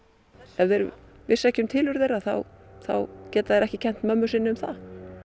ef þeir vissu ekki um tilurð þeirra þá þá gera þeir ekki kennt mömmu sinni um það